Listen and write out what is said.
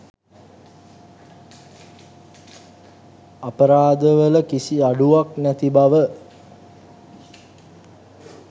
අපරාධවල කිසි අඩුවක් නැති බව